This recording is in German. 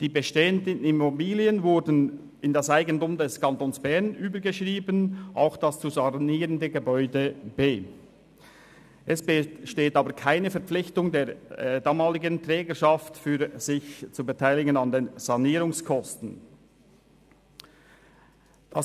Die Immobilien wurden in das Eigentum des Kantons Bern überführt, auch das zu sanierende Gebäude B. Es besteht aber keine Verpflichtung der damaligen Trägerschaft, sich an den Sanierungskosten zu beteiligen.